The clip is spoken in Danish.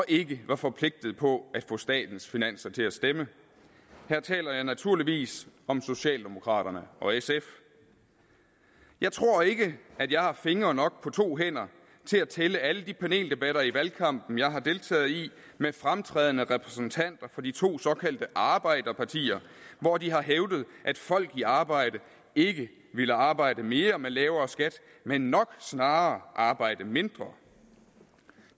ikke var forpligtet på at få statens finanser til at stemme her taler jeg naturligvis om socialdemokraterne og sf jeg tror ikke at jeg har fingre nok på to hænder til at tælle alle de paneldebatter i valgkampen jeg har deltaget i med fremtrædende repræsentanter for de to såkaldte arbejderpartier hvor de har hævdet at folk i arbejde ikke ville arbejde mere med lavere skat men nok snarere arbejde mindre